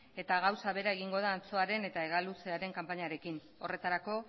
eta gauza bera egingo da antxoaren eta hegaluzearen kanpainekin horretarako